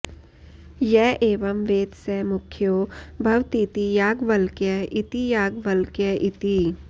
य एवं वेद स मुख्यो भवतीति याज्ञवल्क्य इति याज्ञवल्क्य इति